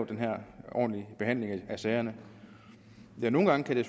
den her ordentlige behandling af sagerne nogle gange kan det